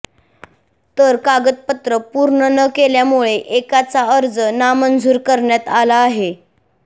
तर कागदपत्र पूर्ण न केल्यामुळे एकाचा अर्ज नामंजूर करण्यात आला आहे